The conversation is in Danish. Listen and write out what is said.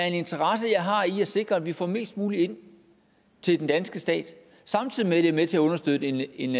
en interesse i at sikre at vi får mest muligt ind til den danske stat samtidig med det med til at understøtte en